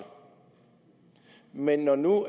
men når nu